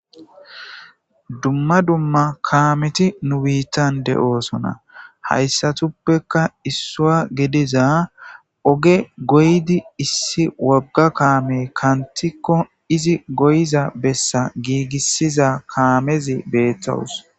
Dumma dumma kaameti nu biittan de'oosona hayssatuppekka issoa gediza oge goydi issi wagga kaame kantikko izi goyiza bessa giigissiza kaamezi beettowus